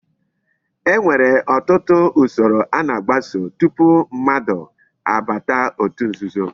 E nwere otutu usoro a na-agbaso tupu mmadu abata otu nzuzo